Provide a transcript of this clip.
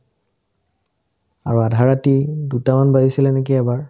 আৰু আধাৰাতি দুটামান বাজিছিলে নেকি এবাৰ